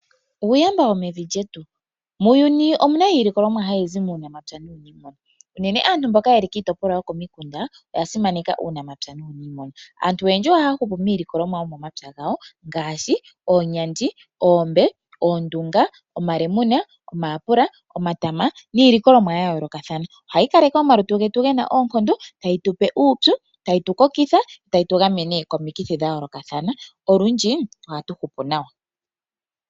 Uuyamba wo mevi lyetu. Muuyuni omuna iilikolomwa hayi zi muunamapya nuuniimuna. Uunene aantu mboka yeli kiitopolwa yokomikunda oya simaneka uunamapya nuuniimuna. Aantu oyendji ohaya hupu miilikolomwa yomomapya gawo ngaashi oonyandi, oombe, oondunga, omalemune, omayapula, omatama niilikolomwa ya yoolokathana. Ohayi kaleke omalutu getu gena oonkondo, tayi tupe uupyu, tayi tu kokitha yo tayi tu gamene komikithi dha yoolokathana. Olundji ohatu hupu nawa.